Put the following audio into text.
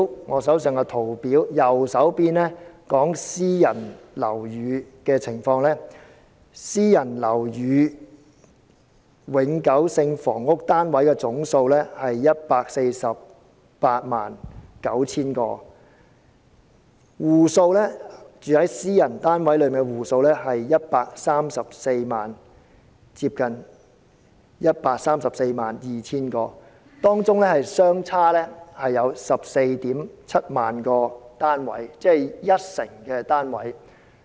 我手上圖表的右方所顯示的是私人樓宇的情況，私人樓宇永久性房屋單位的總數是 1,489 000個，居住在私人單位的戶數是接近 1,342 000個，當中相差 147,000 個單位，即一成單位。